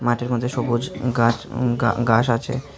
মাঠের মধ্যে সবুজ গাস গা গাস আছে।